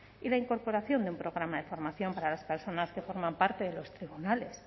y la incorporación de un programa de formación para las personas que forman parte de los tribunales